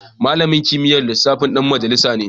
Malamin kimiyyar lissafi dan majalisa ne